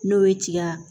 N'o ye tiga